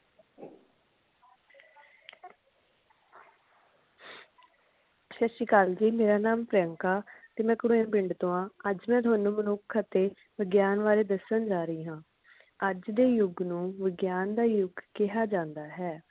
ਸਤਿ ਸ਼੍ਰੀ ਅਕਾਲ ਜੀ ਮੇਰਾ ਨਾਮ ਪ੍ਰਿਯੰਕਾ ਤੇ ਮੈਂ ਕੁਰੇਹ ਪਿੰਡ ਤੋਂ ਹਾਂ ਅੱਜ ਮੈਂ ਤੁਹਾਨੂੰ ਮਨੁੱਖ ਅਤੇ ਵਿਗਿਆਨ ਬਾਰੇ ਦੱਸਣ ਜਾ ਰਹੀ ਹਾਂ ਅੱਜ ਦੇ ਯੁੱਗ ਨੂੰ ਵਿਗਿਆਨ ਦਾ ਯੁੱਗ ਕਿਹਾ ਜਾਂਦਾ ਹੈ